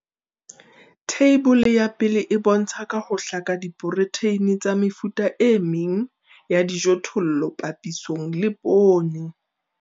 Theibole ya 1 e bontsha ka ho hlaka diprotheine tsa mefuta e meng ya dijothollo papisong le poone.